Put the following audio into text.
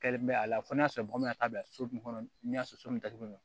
Kɛlen bɛ a la fɔ n'a sɔrɔ bamanankan so min kɔnɔ n'i y'a sɔrɔ so min datugulen do